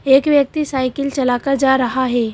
एक व्यक्ति साइकिल चलाकर जा रहा है।